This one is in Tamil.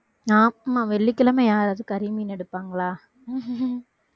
ஆமா வெள்ளிக்கிழமை யாராவது கறி, மீன் எடுப்பாங்களா